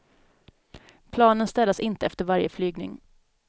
Planen städas inte efter varje flygning.